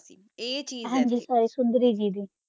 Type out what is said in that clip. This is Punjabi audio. ਹੋਵਾ ਸੀ ਹ ਗਾ ਹਨ ਗੀ ਆ ਚੀਜ਼ ਆ